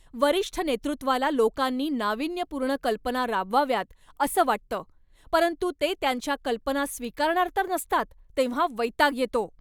वरिष्ठ नेतृत्वाला लोकांनी नाविन्यपूर्ण कल्पना राबवाव्यात असं वाटतं परंतु ते त्यांच्या कल्पना स्वीकारणार तर नसतात तेव्हा वैताग येतो.